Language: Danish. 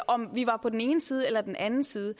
om vi var på den ene side eller den anden side